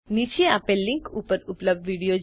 નીચે આપેલ લીનક ઉપર ઉપલબ્ધ વિડીઓ જુઓ